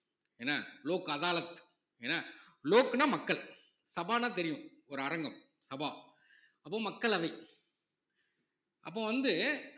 என்ன லோக் அதாலத் லோக் என்ன லோக்ன்னா மக்கள் சபான்னா தெரியும் ஒரு அரங்கம் சபா அப்போ மக்களவை அப்போ வந்து